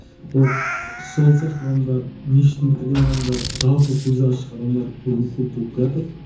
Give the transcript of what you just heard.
вот сол сияқты адамдар ниш тің бітірген адамдар жалпы көзі ашық адамдар бүгін көп болып келатыр